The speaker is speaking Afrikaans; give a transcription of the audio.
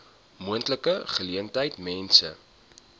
moontlike geleentheid mense